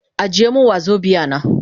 Ajiye min wazobia na.